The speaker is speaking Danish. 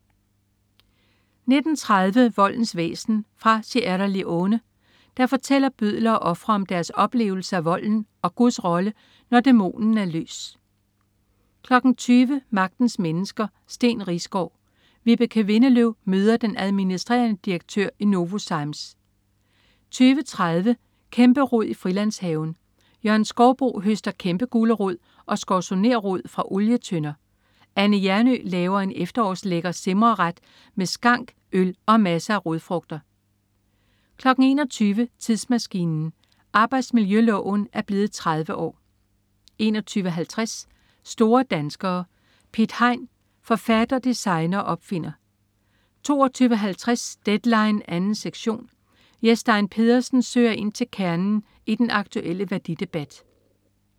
19.30 Voldens væsen. Fra Sierra Leone fortæller bødler og ofre om deres oplevelse af volden og Guds rolle, når dæmonen er løs 20.00 Magtens Mennesker: Steen Riisgaard. Vibeke Windeløv møder den adm. dir. i Novozymes 20.30 Kæmperod i Frilandshaven. Jørgen Skouboe høster kæmpegulerod og skorzonerrod fra olietønder. Anne Hjernøe laver en efterårslækker simreret med skank, øl og masser af rodfrugter 21.00 Tidsmaskinen. Arbejdsmiljøloven er blevet 30 år 21.50 Store danskere. Piet Hein. Forfatter, designer og opfinder 22.50 Deadline 2. sektion. Jes Stein Pedersen søger ind til kernen i den aktuelle værdidebat